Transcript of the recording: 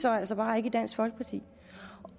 så altså bare ikke i dansk folkeparti